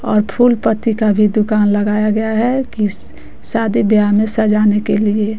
और फूलपत्ति का भी दुकान लगाया गया है कि शादी ब्याह में सजाने के लिए--